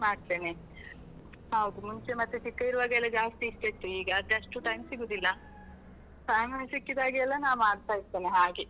ಮಾಡ್ತೇನೆ, ಹೌದು ಮುಂಚೆ ಮತ್ತೆ ಚಿಕ್ಕ ಇರುವಾಗೆಲ್ಲ ಜಾಸ್ತಿ ಇಷ್ಟ ಇತ್ತು, ಈಗ ಅಷ್ಟು time ಸಿಗುದಿಲ್ಲ , time ಸಿಕ್ಕಿದಾಗೆಲ್ಲ ನಾ ಮಾಡ್ತಾ ಇರ್ತೇನೆ ಹಾಗೆ.